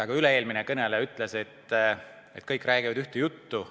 Ka üle-eelmine kõneleja ütles, et kõik räägivad ühte juttu.